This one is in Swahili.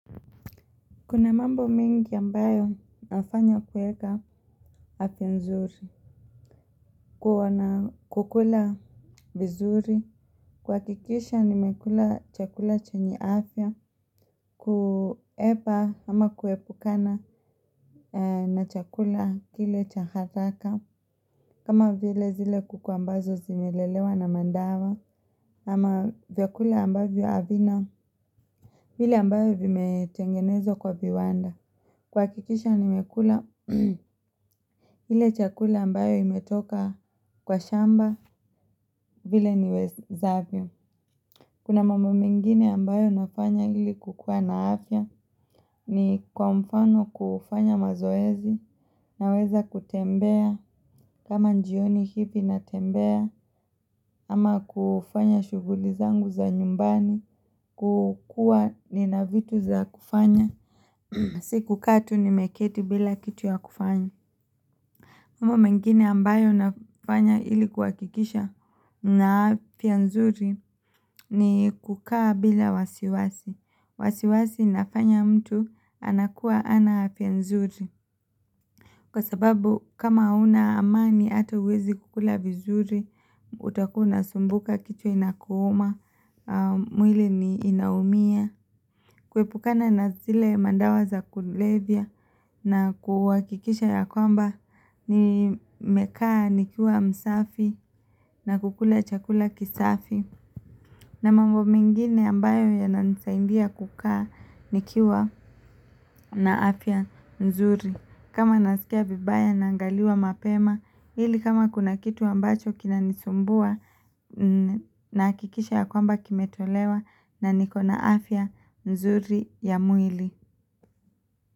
Kuna mambo mengi ambayo nafanya kueka afya nzuri, kukula vizuri, kuhakikisha nimekula chakula chenye afya, kuepa ama kuepukana na chakula kile cha haraka, kama vile zile kuku ambazo zimelelewa na madawa, ama vyakula ambayo havina, vile ambavyo vimetengenezwa kwa viwanda. Kuhakikisha nimekula ile chakula ambayo imetoka kwa shamba vile niwezavyo. Kuna mambo mengine ambayo nafanya ili kukua na afya ni kwa mfano kufanya mazoezi naweza kutembea kama jioni hivi natembea ama kufanya shughuli zangu za nyumbani kukua nina vitu za kufanya. Si kukaa tu nimeketi bila kitu ya kufanya. Mambo mengine ambayo nafanya ili kuhakikisha nina afya nzuri ni kukaa bila wasiwasi. Wasiwasi nafanya mtu anakuwa hana afya nzuri. Kwa sababu kama hauna amani hata huwezi kukula vizuri, utakuwa unasumbuka kichwa inakuuma, mwili ni inaumia. Kuepukana na zile madawa za kulevya na kuhakikisha ya kwamba nimekaa nikiwa msafi na kukula chakula kisafi. Na mambo mengine ambayo yananisaidia kukaa nikiwa na afya nzuri. Kama nasikia vibaya naangaliwa mapema ili kama kuna kitu ambacho kinanisumbua nahakikisha ya kwamba kimetolewa na niko na afya mzuri ya mwili.